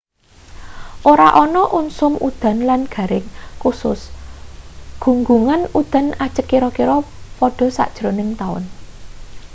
ora ana usum udan lan garing kusus gunggungan udan ajeg kira-kira padha sajrone taun